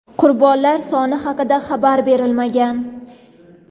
Qurbonlar soni haqida xabar berilmagan.